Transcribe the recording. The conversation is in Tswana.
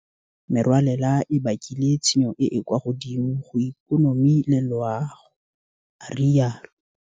Dikgato tsa tshoganyetso tse re di tsereng di agile motheo o o tsetsepetseng o mo go ona re tla agang sešwa ikonomi ya rona.